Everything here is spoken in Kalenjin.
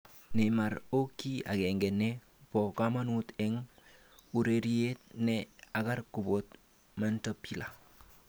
Neymar o ki akenge ne bo komonut eng urerie ne ang'er koboto Montepillir.